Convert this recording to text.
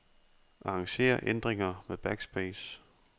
Arranger ændringer med backspace.